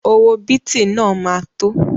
Owó bìtì náà ma tó